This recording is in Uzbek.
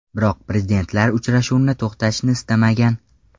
Biroq prezidentlar uchrashuvni to‘xtatishni istamagan.